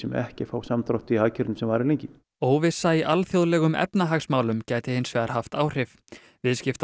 ekki fá samdrátt í hagkerfið sem varir lengi óvissa í alþjóðlegum efnahagsmálum gæti hins vegar haft áhrif